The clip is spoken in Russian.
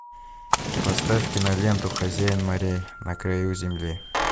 поставь киноленту хозяин морей на краю земли